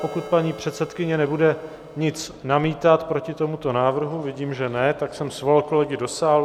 Pokud paní předsedkyně nebude nic namítat proti tomuto návrhu - vidím, že ne, tak jsem svolal kolegy do sálu.